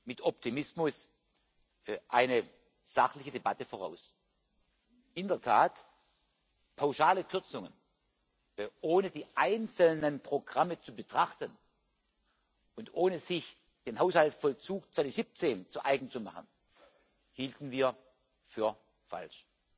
mit Optimismus eine sachliche Debatte voraus. In der Tat Pauschale Kürzungen, ohne die einzelnen Programme zu betrachten und ohne sich den Haushaltsvollzug 2017 zu eigen zu machen, hielten wir für falsch.